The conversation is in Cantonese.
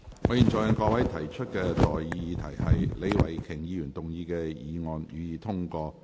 我現在向各位提出的待議議題是：李慧琼議員動議的議案，予以通過。